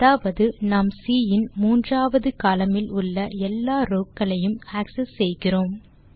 அதாவது நாம் சி இன் மூன்றாவது கோலம்ன் இல் உள்ள எல்லா ரோவ் க்களையும் ஆக்செஸ் செய்கிறோம்